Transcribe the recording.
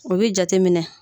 u bɛ jateminɛ.